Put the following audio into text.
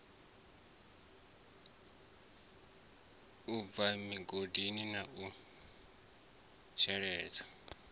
bwa migodi na u sheledza